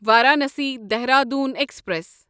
Varanasi Dehradun express